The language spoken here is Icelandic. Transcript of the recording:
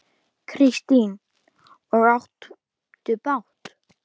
Kristín: Og áttu bát?